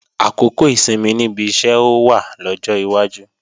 Àkókò ìsinmi níbi iṣẹ́ ó wá lọ́jọ́ iwájú